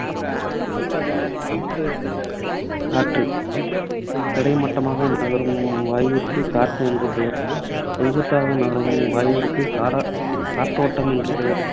காற்று கிடைமட்டமாக நகரும் வாயுவிற்கு காற்று என்று பெயர். செங்குத்தாக நகரும் வாயுவிற்கு காறா~ காற்றோட்டம் என்று பெயர்.